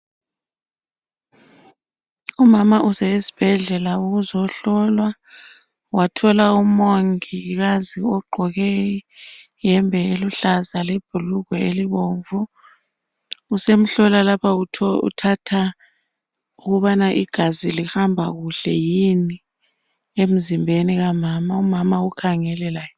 Umama usesibhedlela ukuzohlolwa wathola umongikazi ogqoke iyembe iluhlaza lebhurugwe elibomvu usemhlola uthatha igazi lihamba kuhle yini emzimbeni kamama, umama ukhangele laye.